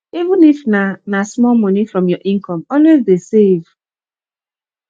even if na na small money from your income always dey save